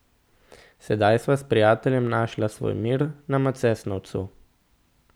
Sedaj sva s prijateljem našla svoj mir na Macesnovcu.